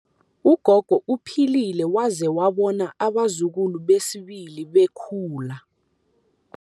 Ugogo uphilile waze wabona abazukulu besibili bekhula.